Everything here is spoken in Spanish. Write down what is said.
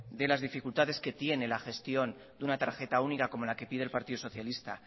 de las dificultades que tiene la gestión de una tarjeta única como la que pide el partido socialista